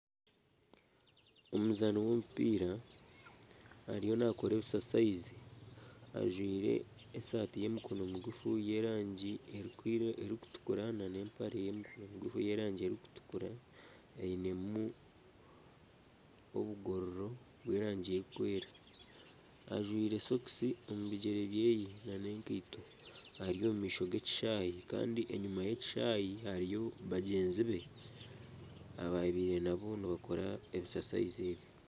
Omuzaani w’omupiira ariyo nakora ebisasayizi ajwaire esaati y'emikono miguufu y'erangi erikutukura n'empare y'erangi erikutukura ainemu obugororo bw'erangi erikwera, ajwaire sokisi omu bigyere byeye na n'ekaito eri omu maisho g'ekishaayi kandi enyuma y'ekishaayi hariyo bagyenzi be ababaire naabo nibakora ebisasayizi ebyo.